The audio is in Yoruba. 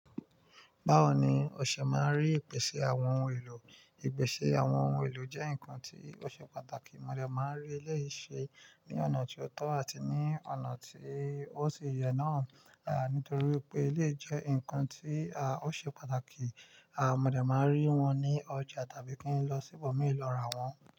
Báwo ni o ṣe máa rí ìpèsè àwọn ohun èlò? Ìpèsè àwọn ohun èlò jẹ́ nǹkan tí ó ṣe pàtàkì. Mo de máa nrí eleyii se ní ọ̀nà tí ó tọ́ àti ní ọ̀nà tí ó ṣi yẹ náà, à nítorí wipé eléyi jẹ́ nǹkan tí a ó ṣe pàtàkì. À mo de máa nrí wọn ní ọjà tàbí kí n lọ sí ibòmíràn lọ ra wọ́n.